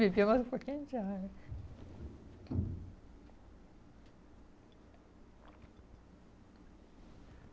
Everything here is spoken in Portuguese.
beber mais um pouquinho de água.